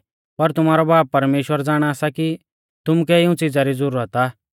कैलैकि पुरी धौतरी री ज़ाती इऊं सारी च़िज़ा लै फिकर कौरदै थाका ई लागी पर तुमारौ बाब परमेश्‍वर ज़ाणा सा कि तुमुकै इऊं च़िज़ा री ज़ुरत आ